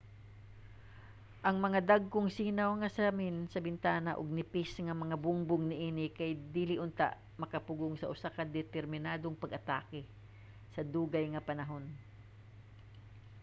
ang mga dagkong sinaw nga samin sa bintana ug nipis nga mga bungbong niini kay dili unta makapugong sa usa ka determinadong pag-atake sa dugay nga panahon